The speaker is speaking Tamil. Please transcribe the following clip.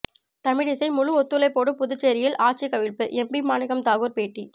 தமிழிசை முழு ஒத்துழைப்போடு புதுச்சேரியில் ஆட்சி கவிழ்ப்பு எம்பி மாணிக்கம் தாகூர் பேட்டி